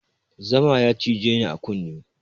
Zama ya cije ni a kunne